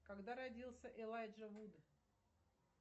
когда родился элайджа вуд